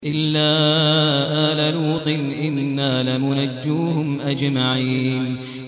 إِلَّا آلَ لُوطٍ إِنَّا لَمُنَجُّوهُمْ أَجْمَعِينَ